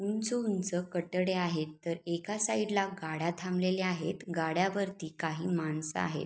उंच उंच कटडे आहेत ते एका साइडला गाड्या थांबलेल्या आहेत गाड्या वरती काही माणसं आहेत.